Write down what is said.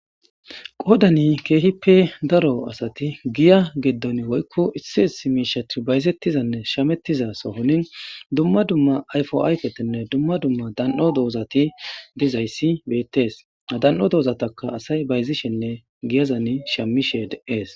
qodani keehippe daro asati giya geddon woykko issi is miishathi bayzettizanne shamettiza sohonin dumma dumma ayfo ayfetenne dumma dumma dan7o doozati dizayssi beettees dan7o doozataka asay bayzishenne giyazani shamished ees